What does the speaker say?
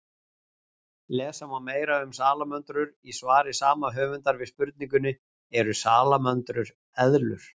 Lesa má meira um salamöndrur í svari sama höfundar við spurningunni Eru salamöndrur eðlur?